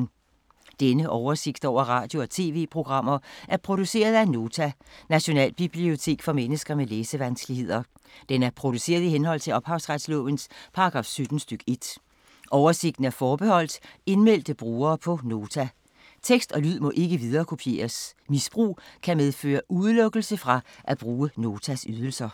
Denne oversigt over radio og TV-programmer er produceret af Nota, Nationalbibliotek for mennesker med læsevanskeligheder. Den er produceret i henhold til ophavsretslovens paragraf 17 stk. 1. Oversigten er forbeholdt indmeldte brugere på Nota. Tekst og lyd må ikke viderekopieres. Misbrug kan medføre udelukkelse fra at bruge Notas ydelser.